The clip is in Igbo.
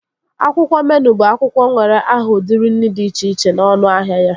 Akwụkwọ meenụ bụ akwụkwọ nwere aha udiri nri dị iche iche na ọnụahịa ya